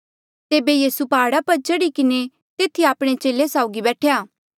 तेबे यीसू प्हाड़ा पर चढ़ी किन्हें तेथी आपणे चेले साउगी बैठेया